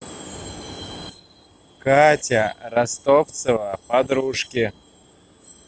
катя ростовцева подружки